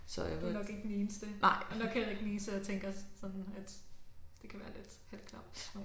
Så du nok ikke den eneste. Du nok heller ikke den eneste der tænker sådan at det kan være lidt halvklamt at